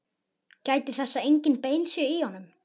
Gætið þess að engin bein séu í honum.